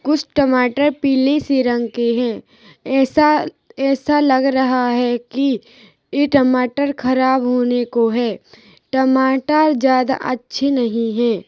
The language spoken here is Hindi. कुछ टमाटर पीले से रंग के हैं ऐसा-ऐसा लग रहा है कि ई टमाटर खराब होने को हैं टमाटर ज्यादा अच्छे नहीं हैं।